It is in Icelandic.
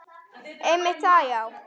Einmitt það já.